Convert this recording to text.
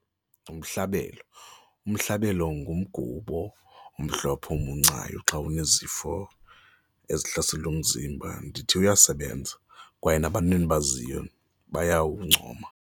Nomhlabelo, umhlabelo ngumgubo omhlophe owumuncayo xa unezifo ezihlasela umzimba, ndithi uyasebenza kwaye nabantu endibaziyo bayawuncoma.